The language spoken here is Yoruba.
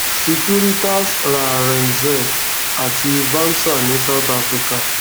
securitas ra rentsec àti vamsa ní south africa